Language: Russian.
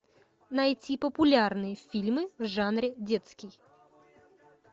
найти популярные фильмы в жанре детский